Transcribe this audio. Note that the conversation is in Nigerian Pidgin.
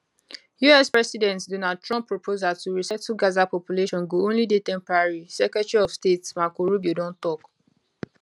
us president donald trump proposal to resettle gaza population go only dey temporary secretary of state marco rubio don tok